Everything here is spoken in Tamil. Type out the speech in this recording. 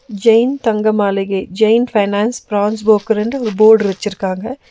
ஜெயின் தங்க மாளிகை ஜெயின் பைனான்ஸ் ப்ரான்ஸ் புரோக்கர்ன்டு ஒரு போர்டு வெச்சிருக்காங்க.